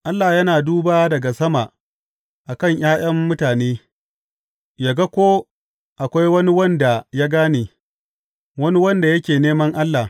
Allah yana duba daga sama a kan ’ya’yan mutane yă ga ko akwai wani wanda ya gane, wani wanda yake neman Allah.